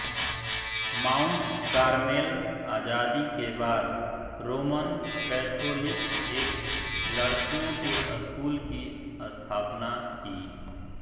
mount Carmel आजादी के बाद रोमन कैथोलिक एक लड़कियों के स्कूल की स्थापना की